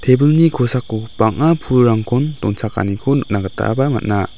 tebilni kosako bang·a pulrangkon donchakaniko nikna gitaba man·a.